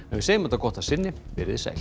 við segjum þetta gott að sinni veriði sæl